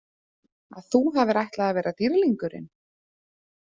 Að þú hafir ætlað að vera dýrlingurinn?